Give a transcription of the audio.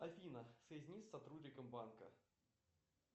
афина соедини с сотрудником банка